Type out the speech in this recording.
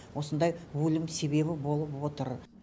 осындай өлім себебі болып отыр